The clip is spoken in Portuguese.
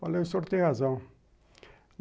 Falei, o senhor tem razão.